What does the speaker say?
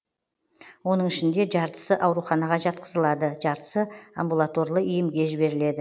оның ішінде жартысы ауруханаға жатқызылады жартысы амбулаторлы емге жіберіледі